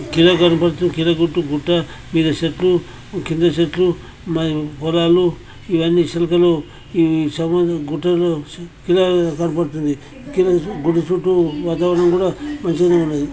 కిరా గణపత్తు కిరా గుట్టు గుట్టా మీద చెట్లు కింద చెట్లు మై పొలాలు ఇవన్నీ చిలకలు ఈ సమదూ గుట్టలు కీలా గుడి చుట్టూ వాతావరణం కూడా మంచిగా ఉన్నది.